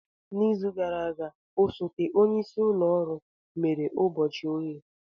N'izu gara aga, osote onye isi ụlọ ọrụ mere ụbọchị oghe.